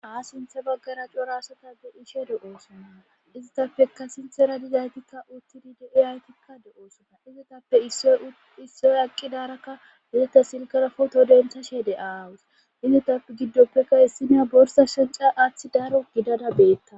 Haa sinthe baggara corasata be ishe do'oosonna izitappeka sinthera dizaytikka uttidi de'i haytikka do'oosonna izitappe issoy aqqi daarakka wozeta silkara foto dentha she de aawus izitappe giddoppekka issineya borsa shanca aaththi daro gidada beetta.